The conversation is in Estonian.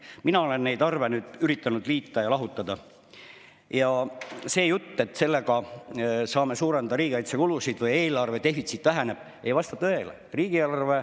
Mina olen neid arve nüüd üritanud liita ja lahutada ning see jutt, et sellega saame suurendada riigikaitsekulusid või eelarvedefitsiit väheneb, ei vasta tõele.